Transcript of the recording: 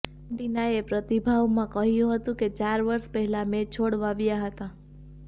વેલેન્ટિનાએ પ્રતિભાવમાં કહ્યું હતું કે ચાર વર્ષ પહેલા મેં છોડ વાવ્યા હતા